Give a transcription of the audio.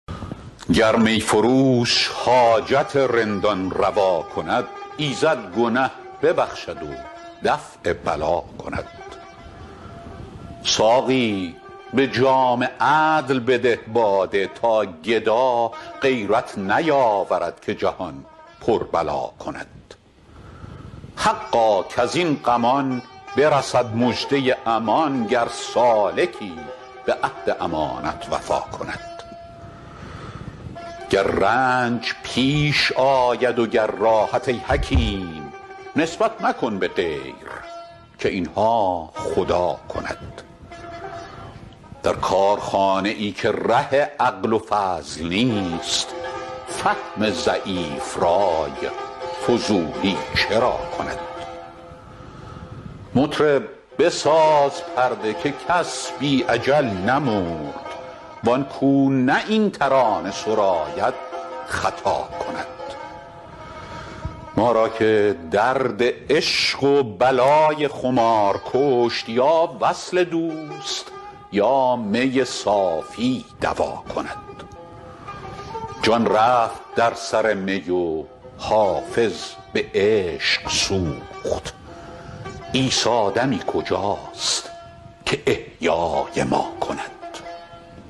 گر می فروش حاجت رندان روا کند ایزد گنه ببخشد و دفع بلا کند ساقی به جام عدل بده باده تا گدا غیرت نیاورد که جهان پر بلا کند حقا کز این غمان برسد مژده امان گر سالکی به عهد امانت وفا کند گر رنج پیش آید و گر راحت ای حکیم نسبت مکن به غیر که این ها خدا کند در کارخانه ای که ره عقل و فضل نیست فهم ضعیف رای فضولی چرا کند مطرب بساز پرده که کس بی اجل نمرد وان کو نه این ترانه سراید خطا کند ما را که درد عشق و بلای خمار کشت یا وصل دوست یا می صافی دوا کند جان رفت در سر می و حافظ به عشق سوخت عیسی دمی کجاست که احیای ما کند